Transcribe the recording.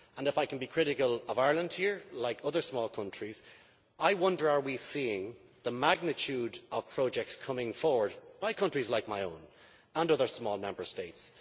And if I can be critical of Ireland here, like other small countries, I wonder are we seeing the magnitude of projects coming forward from countries like my own and other small Member States?